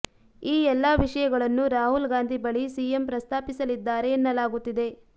ಈ ಎಲ್ಲ ವಿಷಯಗಳನ್ನು ರಾಹುಲ್ ಗಾಂಧಿ ಬಳಿ ಸಿಎಂ ಪ್ರಸ್ತಾಪಿಸಲಿದ್ದಾರೆ ಎನ್ನಲಾಗುತ್ತಿದೆ